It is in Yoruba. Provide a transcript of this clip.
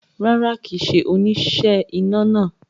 Rárá, kì í ṣe oníṣẹ́ iná náà